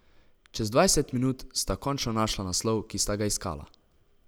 Čez dvajset minut sta končno našla naslov, ki sta ga iskala.